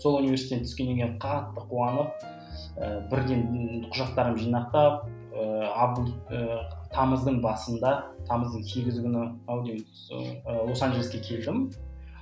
сол университетке түскеннен кейін қатты қуанып ы бірден құжаттарымды жинақтап ыыы ыыы тамыздың басында тамыздың сегізі күні ау деймін сол ы лос анжелеске келдім